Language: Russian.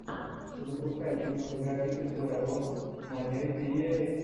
запускай кинематографическую работу в манере феерии